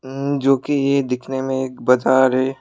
उ जो कि ये दिखने में एक बजार है।